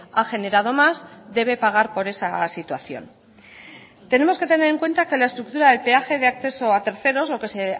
ha generado más debe pagar por esa situación tenemos que tener en cuenta que la estructura del peaje de acceso a terceros lo que es